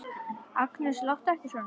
Agnes, láttu ekki svona!